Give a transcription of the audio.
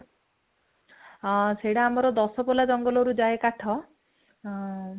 ହଁ ସେଟା ଆମର ଦଶପଲ୍ଲା ଜଙ୍ଗଲରୁ ଯାଏ କାଠ, ହଁ